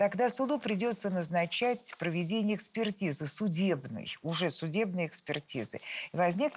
я тогда сюда придётся назначать проведение экспертизы судебной уже судебной экспертизы и возникнет